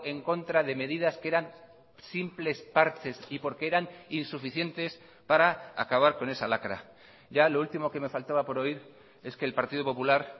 en contra de medidas que eran simples parches y porque eran insuficientes para acabar con esa lacra ya lo último que me faltaba por oír es que el partido popular